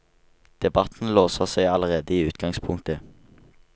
Debatten låser seg allerede i utgangspunktet.